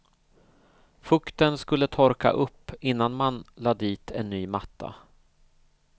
Fukten skulle torka upp innan man la dit en ny matta.